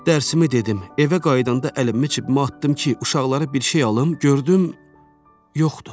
Dərsimi dedim, evə qayıdanda əlimi cibimə atdım ki, uşaqlara bir şey alım, gördüm yoxdur.